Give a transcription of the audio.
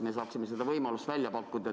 Me saaksime seda võimalust välja pakkuda.